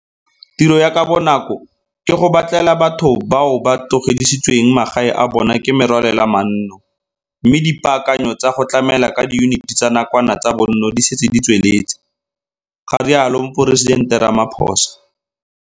Tiro ya ka bonako ke go batlela batho bao ba tlogedisitsweng magae a bona ke merwalela manno mme dipaakanyo tsa go tlamela ka diyuniti tsa nakwano tsa bonno di setse di tsweletse, ga rialo Moporesidente Ramaphosa.